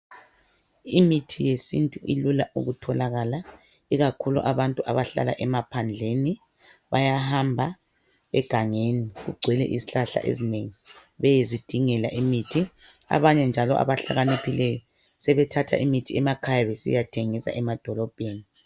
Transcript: Imithi yesintu ilula ukutholakala ikakhulu abantu abahlala emaphandleni bayahamba egangeni okugcwele izihlahla besiyazidingela imithi. Abanye njalo abahlakaniphileyo sebethatha imithi besiyathengisa emadolobheni.